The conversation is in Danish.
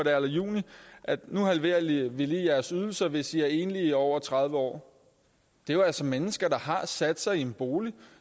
er eller juni nu halverer vi lige jeres ydelser hvis i er enlige over tredive år det er jo altså mennesker der har sat sig i en bolig